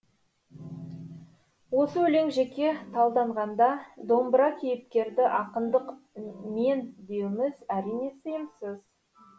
осы өлең жеке талданғанда домбыра кейіпкерді ақындық мен деуіміз әрине сиымсыз